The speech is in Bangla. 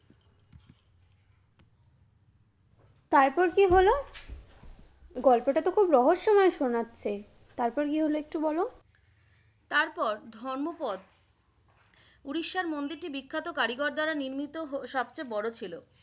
তারপর কি হলো? গল্পটাতো খুব রহস্যময় শুনাচ্ছে! তারপর কি হলো একটু বলো? তারপর ধম্মপদ উড়িষ্যার মন্দিরটি বিখ্যাত কারিগর দ্বারা নির্মিত সবচেয়ে বড় ছিলো।